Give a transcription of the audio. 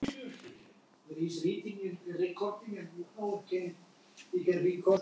Sögu án endis.